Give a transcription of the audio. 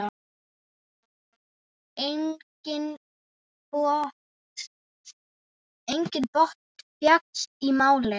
Enginn botn fékkst í málið.